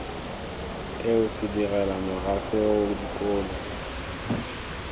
eo sedirela morafe oo dikolo